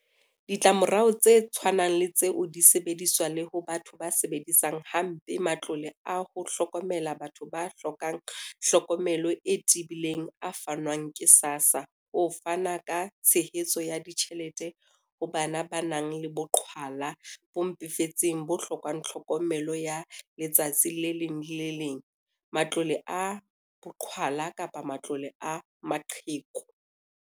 Ditlamorao tse tshwanang le tseo di sebediswa le ho batho ba sebedisang ha mpe matlole a ho hlokomela batho ba hlokang hlokomelo e tebileng a fanwang ke SASSA ho fana ka tshehetso ya ditjhelete ho bana ba nang le boqhwala bo mpefetseng bo hlokang tlhokomelo ya letsatsi le leng le le leng, matlole a boqhwala kapa matlole a maqheku.